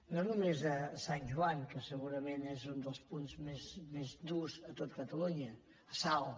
no només a sant j oan que segurament és un dels punts més durs de tot catalunya a salt